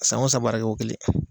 San o san bara kɛ ko kelen.